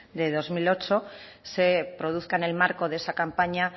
de dos mil ocho se produzca en el marco de esa campaña